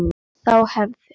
Þá hefði